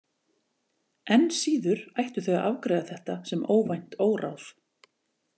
Enn síður ættu þau að afgreiða þetta sem óvænt óráð.